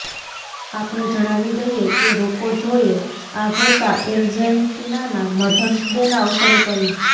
આપને જણાવી દઈએ કે રોક્કોજોએ આ ઘોષા અર્જેન્ટીનાના મધર્સ ડેના અવસરે કરી